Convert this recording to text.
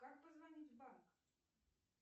как позвонить в банк